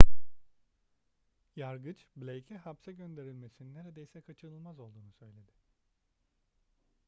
yargıç blake'e hapse gönderilmesinin neredeyse kaçınılmaz olduğunu söyledi